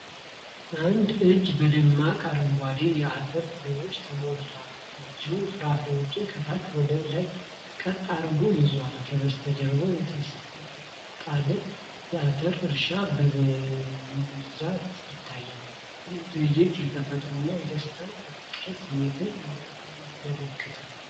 አንድ እጅ በደማቅ አረንጓዴ የአተር ፍሬዎች ተሞልቷል። እጁ ፍሬዎቹን ከታች ወደ ላይ ቀጥ አድርጎ ይዟል። ከበስተጀርባ የተንጣለለ የአተር እርሻ በብዥታ ይታያል። ይህ ትዕይንት የተፈጥሮን የደስታና የፍቅር ስሜትን ያመለክታል።